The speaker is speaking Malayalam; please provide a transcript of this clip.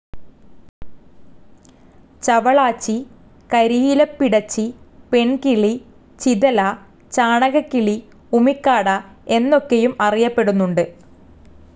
ചവളാച്ചി, കരിയിലപ്പിടച്ചി, പെൺകിളി, ചിതല, ചാണകക്കിളി, ഉമിക്കാട, എന്നൊക്കെയും അറിയപ്പെടുന്നുണ്ട്.